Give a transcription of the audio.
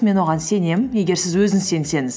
мен оған сенемін егер сіз өзіңіз сенсеңіз